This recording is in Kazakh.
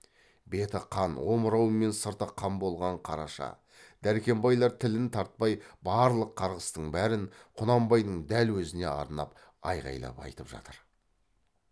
беті қан омырауы мен сырты қан болған қараша дәркембайлар тілін тартпай барлық қарғыстың бәрін құнанбайдың дәл әзіне арнап айғайлап айтып жатыр